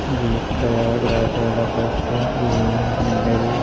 ये प्रयागराज वाला बस है ये सिंगल --